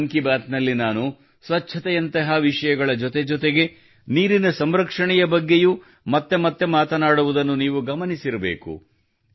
ಮನ್ ಕಿ ಬಾತ್ ನಲ್ಲಿ ನಾನು ಸ್ವಚ್ಛತೆಯಂತಹ ವಿಷಯಗಳ ಜೊತೆಜೊತೆಗೆ ನೀರಿನ ಸಂರಕ್ಷಣೆಯ ಬಗ್ಗೆಯೂ ಮತ್ತೆ ಮತ್ತೆ ಮಾತನಾಡುವುದನ್ನು ನೀವು ಗಮನಿಸಿರಬೇಕು